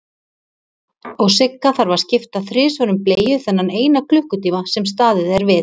Og Sigga þarf að skipta þrisvar um bleiu þennan eina klukkutíma sem staðið er við.